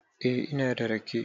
Eh, ina da rake.